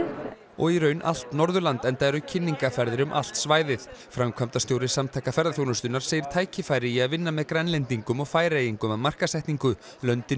og í raun allt Norðurland enda eru kynningarferðir um allt svæðið framkvæmdastjóri Samtaka ferðaþjónustunnar segir tækifæri í að vinna með Grænlendingum og Færeyingum að markaðssetningu löndin